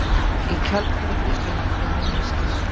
Í kjölfarið fylgdu nokkrir minni skjálftar